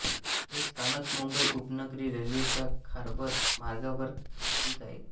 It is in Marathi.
हे स्थानक मुंबई उपनगरी रेल्वेच्या हार्बर मार्गावर स्थित आहे